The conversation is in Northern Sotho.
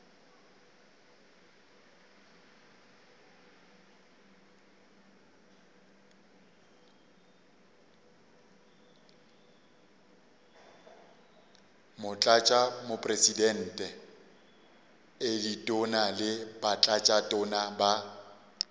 motlatšamopresidente ditona le batlatšatona ba